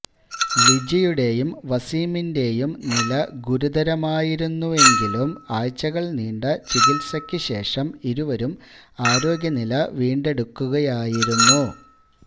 ലിജിയുടെയും വസീമിന്റെയും നില ഗുരുതരമായിരുന്നെങ്കിലും ആഴ്ചകള്നീണ്ട ചികിത്സയ്ക്കുശേഷം ഇരുവരും ആരോഗ്യനില വീണ്ടെടുക്കുകയായിരുന്നു